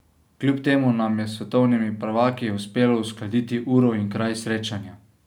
Kljub temu nam je s svetovnimi prvaki uspelo uskladiti uro in kraj srečanja.